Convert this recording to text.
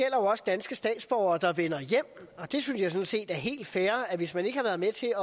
jo også danske statsborgere der vender hjem og det synes jeg sådan set er helt fair altså at hvis man ikke har været med til